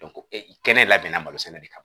kɛnɛ labɛnna malo sɛnɛ de kama